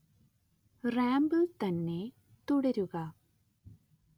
റാമ്പിൽ തന്നെ തുടരുക